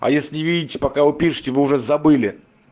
а если видите пока вы пишете вы уже забыли